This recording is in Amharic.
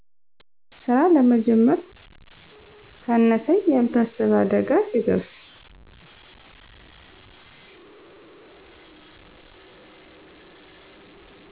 ስራ ለመጀመር ካነሰኝ ያልታሰበ አደጋ ሲደርስ